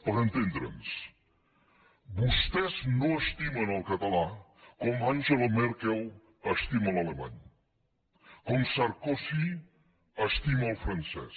per entendre’ns vostès no estimen el català com angela merkel estima l’alemany com sarkozy estima el francès